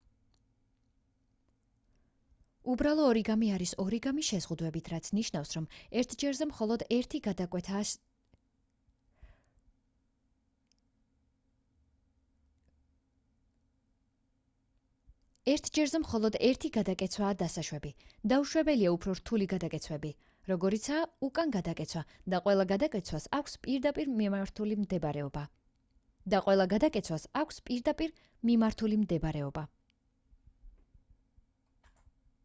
უბრალო ორიგამი არის ორიგამი შეზღუდვებით რაც ნიშნავს რომ ერთ ჯერზე მხოლოდ ერთი გადაკეცვაა დასაშვები დაუშვებელია უფრო რთული გადაკეცვები როგორიცაა უკან გადაკეცვა და ყველა გადაკეცვას აქვს პირდაპირ მიმართული მდებარეობა